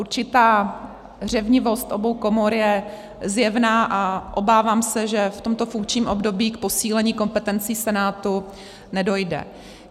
Určitá řevnivost obou komor je zjevná a obávám se, že v tomto funkčním období k posílení kompetencí Senátu nedojde.